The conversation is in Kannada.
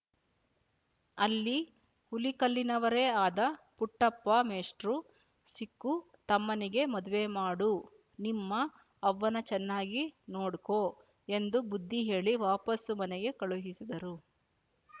ಅಲ್ಲಿ ಹುಲಿಕಲ್ಲಿನವರೆ ಆದ ಪುಟ್ಟಪ್ಪ ಮೇಷ್ಟ್ರು ಸಿಕ್ಕು ತಮ್ಮನಿಗೆ ಮದುವೆ ಮಾಡು ನಿಮ್ಮ ಅವ್ವನ್ನ ಚೆನ್ನಾಗಿ ನೋಡ್ಕೊ ಎಂದು ಬುದ್ದಿ ಹೇಳಿ ವಾಪಾಸ್ಸು ಮನೆಗೆ ಕಳುಹಿಸಿದರು